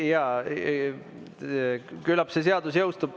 Jaa, küllap see seadus jõustub.